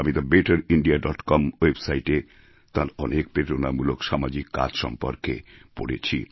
আমি the better India dot com ওয়েবসাইটে তাঁর অনেক প্রেরণামূলক সামাজিক কাজ সম্পর্কে পড়েছি